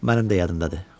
Mənim də yadımdadır.